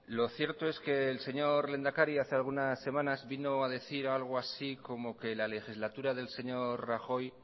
lo cierto es que el señor lehendakari hace algunas semanas vino a decir algo así como que la legislatura del señor rajoy